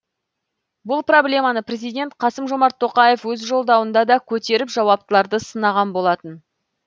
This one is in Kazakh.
бұл проблеманы президент қасым жомарт тоқаев өз жолдауында да көтеріп жауаптыларды сынаған болатын